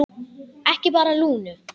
Ekki bara Lúnu.